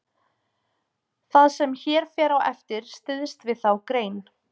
það sem hér fer á eftir styðst við þá grein